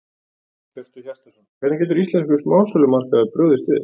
Hjörtur Hjartarson: Hvernig getur íslenskur smásölumarkaður brugðist við?